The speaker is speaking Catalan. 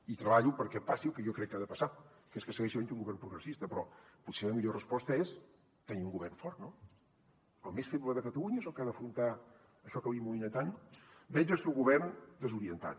i treballo perquè passi el que jo crec que ha de passar que és que segueixi havent hi un govern progressista però potser la millor resposta és tenir un govern fort no el més feble de catalunya és el que ha d’afrontar això que li amoïna tant veig el seu govern desorientat